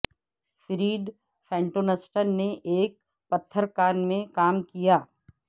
Fred فینٹونسٹن نے ایک پتھر کان میں کام کیا